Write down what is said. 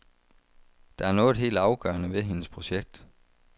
Der er noget helt afgørende ved hendes projekt.